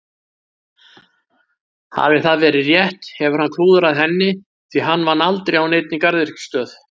Hafi það verið rétt hefur hann klúðrað henni því hann vann aldrei á neinni garðyrkjustöð.